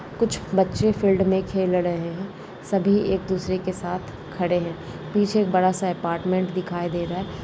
कुछ बच्चे फील्ड में खेल रहे है सभी एक दूसरे के साथ खड़े है पीछे एक बड़ा सा अपार्टमेंट दिखाई दे रहा है।